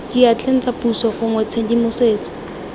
diatleng tsa puso gongwe tshedimosetso